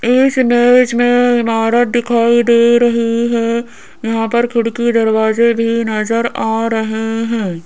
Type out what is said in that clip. इस इमेज मे ईमारत दिखाई दे रही है यहाँ पर खिड़की दरवाजे भी नजर आ रहे है।